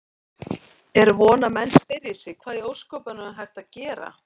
Er von að menn spyrji sig: Hvað í ósköpunum er hægt að gera?